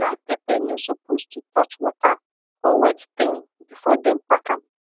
dry pepper no suppose to touch water or wet thing before dem pack am